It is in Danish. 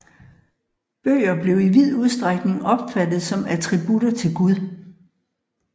Bøger blev i vid udstrækning opfattet som attributter til Gud